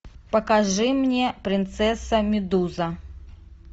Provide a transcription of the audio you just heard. покажи мне принцесса медуза